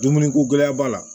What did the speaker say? Dumuni ko gɛlɛya b'a la